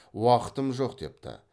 уақытым жоқ депті